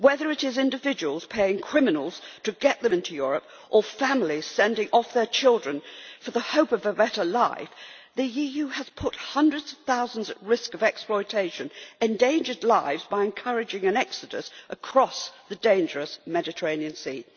Whether it is individuals paying criminals to get them into Europe or families sending off their children for the hope of a better life, the EU has put hundreds of thousands at risk of exploitation and endangered lives by encouraging an exodus across the dangerous Mediterranean Sea.